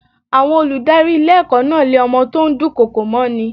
Àwọn olùdarí ilé ẹ̀kọ́ náà lé ọmọ tó ń dùn kọkò mọ́ ni.